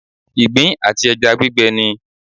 Ìgbín àti ẹja gbígbẹ ni.